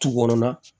Tu kɔnɔ na